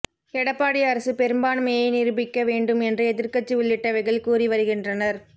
எடப்பாடி அரசு பெரும்பான்மையை நிரூபிக்க வேண்டும் என்று எதிர்கட்சி உள்ளிட்டவைகள் கூறி வருகின்றனர்